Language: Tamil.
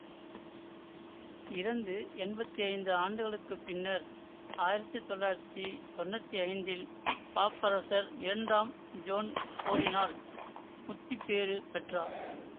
இறந்து என்பத்தி ஐந்து ஆண்டுகளுக்கு பின்னர் ஆயிரத்தி தொள்ளாயிரத்தி தொன்னூத்தி ஐந்தில் பாப்பரசர் இரண்டாம் ஜோன் போலினால் முத்திப்பேறு பெற்றார்